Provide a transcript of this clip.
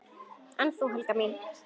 En þú, Helga mín?